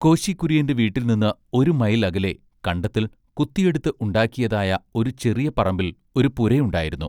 കോശി കുര്യന്റെ വീട്ടിൽനിന്ന് ഒരു മൈൽ അകലെ കണ്ടത്തിൽ കുത്തിയെടുത്ത് ഉണ്ടാക്കിയതായ ഒരു ചെറിയ പറമ്പിൽ ഒരു പുരയുണ്ടായിരുന്നു.